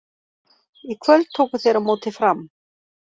Í kvöld tóku þeir á móti Fram.